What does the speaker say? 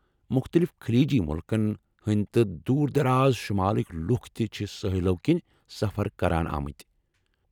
مختلف خلیجی مُلکن ہنٛدۍ تہٕ دوٗر دراز شُمالٕکۍ لُكھ تہِ چھِ سٲحِلو كِنۍ سفر كران آمٕتۍ ۔